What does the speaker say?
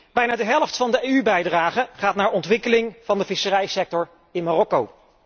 Bijna de helft van de EU bijdrage gaat naar ontwikkeling van de visserijsector in Marokko.